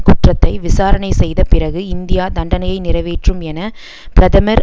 குற்றத்தை விசாரணை செய்த பிறகு இந்தியா தண்டனையை நிறைவேற்றும் என பிரமதமர்